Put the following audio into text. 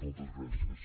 moltes gràcies